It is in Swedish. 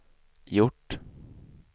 gjort